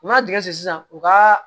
U ma tigɛ sisan u ka